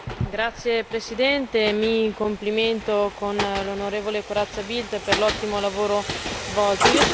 Signora Presidente, mi complimento con l'onorevole Corazza Bildt per l'ottimo lavoro svolto.